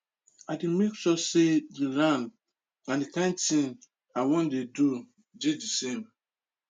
i make sure say dey land and the kain thing i wan dey do dey the same